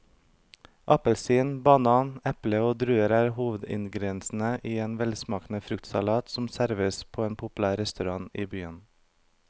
Appelsin, banan, eple og druer er hovedingredienser i en velsmakende fruktsalat som serveres på en populær restaurant i byen.